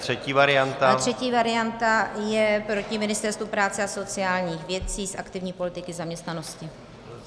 Třetí varianta je proti Ministerstvu práce a sociálních věcí z aktivní politiky zaměstnanosti.